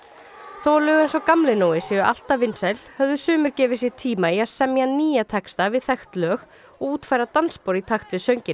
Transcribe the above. þó að lög eins og Gamli Nói séu alltaf vinsæl höfðu sumir gefið sér tíma í að semja nýja texta við þekkt lög og útfæra dansspor í takt við sönginn